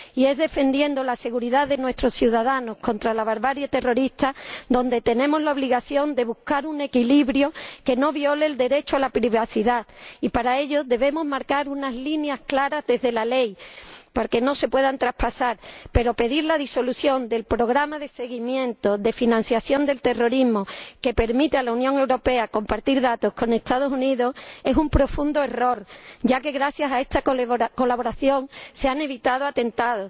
Y es defendiendo la seguridad de nuestros ciudadanos contra la barbarie terrorista cuando tenemos la obligación de buscar un equilibrio que no viole el derecho a la privacidad y, para ello, debemos marcar desde la ley unas líneas claras que no se puedan traspasar, pero pedir la disolución del Programa de Seguimiento de la Financiación del Terrorismo, que permite a la Unión Europea compartir datos con los Estados Unidos, es un profundo error, ya que gracias a esta colaboración se han evitado atentados.